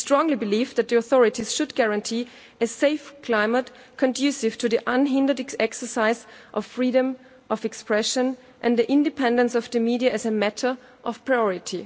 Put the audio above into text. We strongly believe that the authorities should guarantee a safe climate conducive to the unhindered exercise of freedom of expression and the independence of the media as a matter of priority.